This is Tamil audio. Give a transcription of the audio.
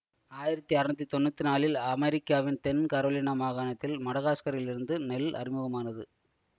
ஆயிரத்தி அறுநூத்தி தொன்னூத்தி நாலில் அமெரிக்காவின் தென் கரோலினா மாகாணத்தில் மடகாஸ்கரிலிருந்து நெல் அறிமுகமானது